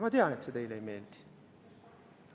Ma tean, et see teile ei meeldi.